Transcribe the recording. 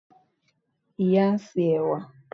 ìyá n se ẹwà